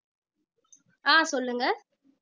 ஆஹ் சொல்லுங்க